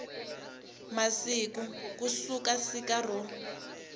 masiku ku suka siku ro